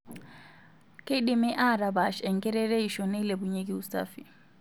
Keidimi atapaash enkerereisho neilepunyieki usafi.